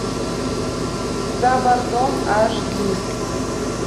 за бортом аш ди